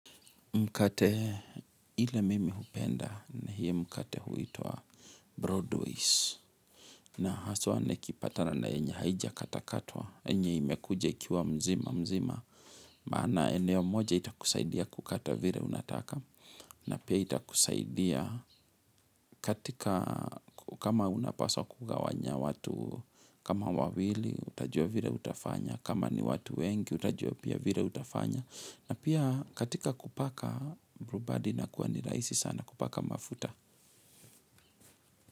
Mkate ile mimi hupenda ni hiyo mkate huitwa Broadway's na haswa nikipatana na yenye haijakatakatwa yenye imekuja ikiwa mzima mzima maana eneo moja itakusaidia kukata vire unataka na pia itakusaidia katika kama unapaswa kugawanya watu kama wawili utajua vire utafanya kama ni watu wengi utajua pia vire utafanya. Na pia katika kupaka brubadi inakuwa ni rahisi sana kupaka mafuta.